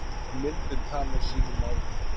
En myndin talar sínu máli.